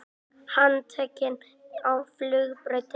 Handtekinn á flugbrautinni